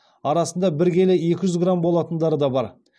арасында бір келі екі жүз грамм болатындары да бар